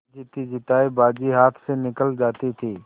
जीतीजितायी बाजी हाथ से निकली जाती थी